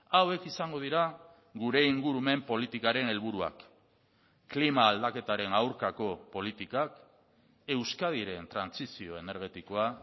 hauek izango dira gure ingurumen politikaren helburuak klima aldaketaren aurkako politikak euskadiren trantsizio energetikoa